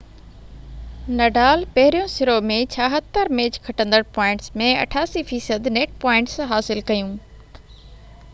Nadal پهرين سرو ۾ 76 match کٽندڙ پوائنٽس ۾ 88% نيٽ پوائنٽس حاصل ڪيون